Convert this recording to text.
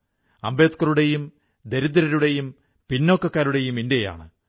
അംബേദ്കറുടെയും ദരിദ്രരുടെയും പിന്നോക്കക്കാരുടെയും ഇന്ത്യയാണ്